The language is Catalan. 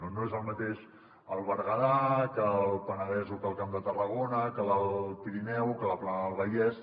no és el mateix el berguedà que el penedès o que el camp de tarragona que l’alt pirineu que la plana del vallès